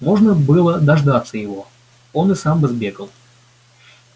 можно было дождаться его он и сам бы сбегал